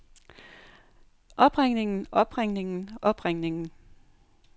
opringningen opringningen opringningen